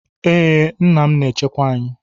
Ee, nna m na-echekwa anyị.